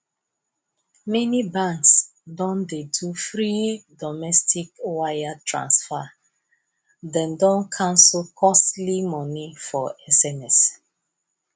many banks don dey do free domestic wire transfer them don cancel costly money for sms